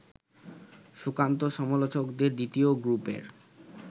সুকান্ত-সমালোচকদের দ্বিতীয় গ্রুপের